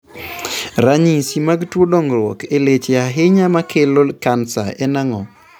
Ranyisi mag tuo dongruok e leche ahinya makelo kansa en ang'o?